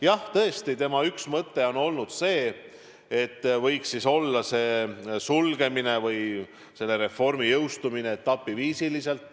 Jah, tõesti, tema üks mõtteid on olnud see, et selle reformi jõustumine võiks toimuda etapiviisi.